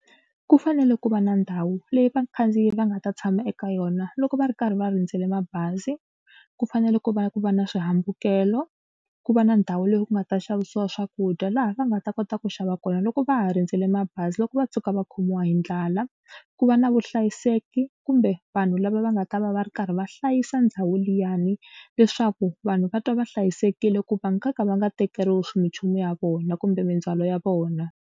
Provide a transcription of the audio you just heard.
Ku fanele ku va na ndhawu leyi vakhandziyi va nga ta tshama eka yona loko va ri karhi va rindzele mabazi. Ku fanele ku va ku va na swihambukelo ku va na ndhawu leyi ku nga ta xavisiwa swakudya laha va nga ta kota ku xava kona loko va ha rindzele bazi loko va tshuka va khomiwa hi ndlala. Ku va na vuhlayiseki kumbe vanhu lava va nga ta va va ri karhi va hlayisa ndhawu liyani leswaku vanhu va twa va hlayisekile ku va nga ka va nga tekeriwi swi minchumu ya vona kumbe mindzhwalo ya vona.